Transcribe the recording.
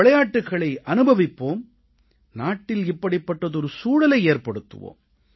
விளையாட்டுகளை அனுபவிப்போம் நாட்டில் இப்படிப்பட்டதொரு சூழலை ஏற்படுத்துவோம்